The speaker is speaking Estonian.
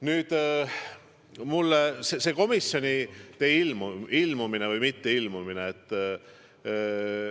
Nüüd see ilmumine või mitteilmumine komisjonidesse.